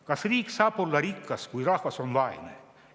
Kas riik saab olla rikas, kui rahvas on vaene?